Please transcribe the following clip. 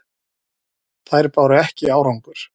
Þær báru ekki árangur.